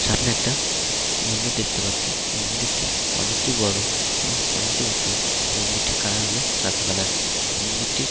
সামনে একটা মন্দির দেখতে পাচ্ছি মন্দিরটি অনেকটি বড় এবং অনেকটি উঁচুমন্দিরটির কালার হলো সাদা কালার মন্দিরটির --